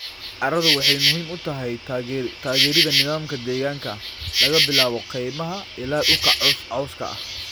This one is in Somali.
Carradu waxay muhiim u tahay taageeridda nidaamka deegaanka, laga bilaabo kaymaha ilaa dhulka cawska ah.